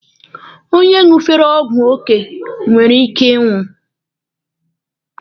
Onye ṅụfere ọgwụ ofe nwere ike ịnwụ.